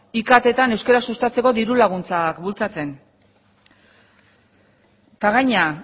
iktetan euskara sustatzeko diru laguntzak bultzatzen eta gainera